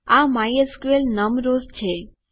આ માયસ્કલ નમ રોઝ છે